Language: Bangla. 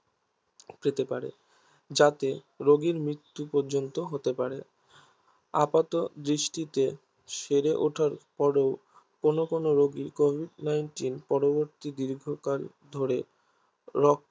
পেতে পারে যাতে রোগির মৃত্যু পর্যন্ত হতে পারে আপাতদৃষ্টিতে সেড়ে উঠার পরেও কোনো কোনো রোগী Covid Nineteen পরবর্তী দীর্ঘকাল ধরে